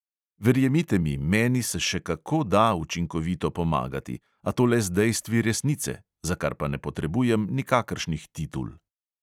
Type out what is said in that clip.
Verjemite mi, meni se še kako da učinkovito pomagati, a to le z dejstvi resnice, za kar pa ne potrebujem nikakršnih titul.